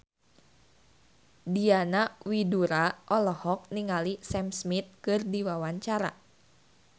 Diana Widoera olohok ningali Sam Smith keur diwawancara